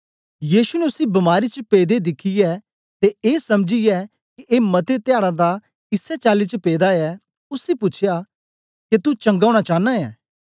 यीशु ने उसी बमारी च पेदे दिखियै ते ए समझीयै के ए मते ध्याडां दा इसै चाली च पेदा ऐ उसी पूछ्या के तू चंगा होना चानां ऐ